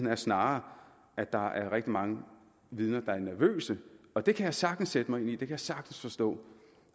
er snarere at der er rigtig mange vidner der er nervøse og det kan jeg sagtens sætte mig ind i det kan jeg sagtens forstå